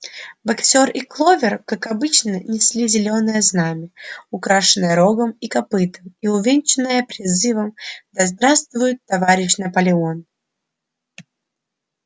боксёр и кловер как обычно несли зелёное знамя украшенное рогом и копытом и увенчанное призывом да здравствует товарищ наполеон